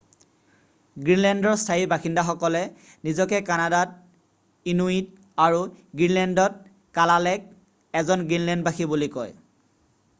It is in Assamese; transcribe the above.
গ্ৰীণলেণ্ডৰ স্থায়ী বাসিন্দাসকলে নিজকে কানাডাত ইনুইট আৰু গ্ৰীণলেণ্ডত কালালেক বহুবচন কালালিত এজন গ্ৰীণলেণ্ডবাসী বুলি কয়।